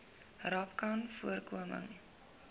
rapcanvoorkoming